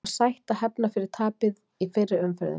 Það var sætt að hefna fyrir tapið í fyrri umferðinni.